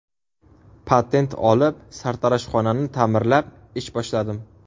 Patent olib, sartaroshxonani ta’mirlab ish boshladim.